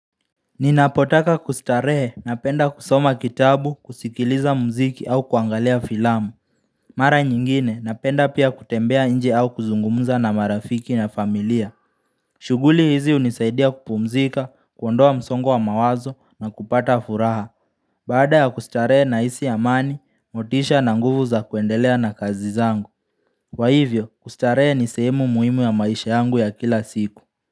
Ninapotaka kustarehe, napenda kusoma kitabu, kusikiliza mziki au kuangalia filamu Mara nyingine napenda pia kutembea nje au kuzungumza na marafiki na familia shughuli hizi hunisaidia kupumzika, kuondoa msongo wa mawazo na kupata furaha Baada ya kustarehe nahisi amani, motisha na nguvu za kuendelea na kazi zangu kwa hivyo, kustarehe ni sehemu muhimu ya maisha yangu ya kila siku.